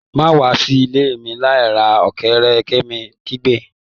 Ma wa si ile mi lai ra ọkẹrẹ!, Kemi kigbe